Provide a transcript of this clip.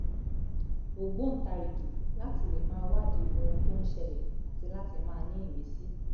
ògbòǹtarìgì láti lè máa wádìí ohun tó ń ṣẹlẹ̀ àti láti máa ní ìmìsí